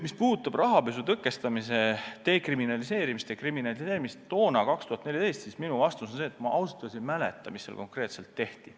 Mis puudutab aastat 2014, siis minu vastus on see, et ma ausalt öeldes ei mäleta, mis seal konkreetselt tehti.